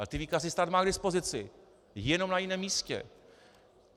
Ale ty výkazy stát má k dispozici, jenom na jiném místě.